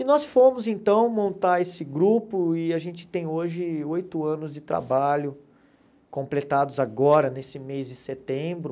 E nós fomos então montar esse grupo e a gente tem hoje oito anos de trabalho completados agora nesse mês de setembro.